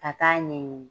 Ka taa ɲɛ ɲini